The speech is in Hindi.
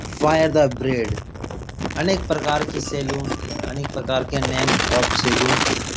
फायर द ब्रैड अनेक प्रकार की सैलून अनेक प्रकार के नेम ऑफ़ सैलून --